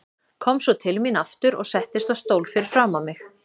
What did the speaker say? Kom svo til mín aftur og settist á stól fyrir framan mig.